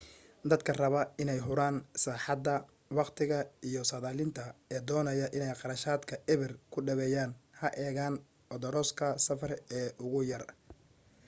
dadka raba inay huraan raaxada waqtiga iyo saadaalinta ee doonaya inay kharashaadka eber ku dhaweeyaan ha eegaan odoroska safar ee ugu yar